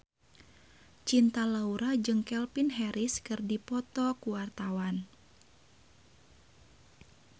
Cinta Laura jeung Calvin Harris keur dipoto ku wartawan